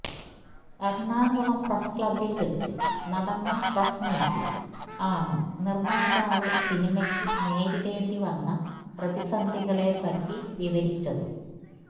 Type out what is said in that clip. Ernakulam press ക്ലബ്ബിൽ വെച്ച് നടന്ന പ്രസ് മീറ്റിൽ ആണ് നിർമ്മാതാവ് സിനിമക്ക് നേരിടേണ്ടി വന്ന പ്രതിസന്ധികളെ പറ്റി വിവരിച്ചതും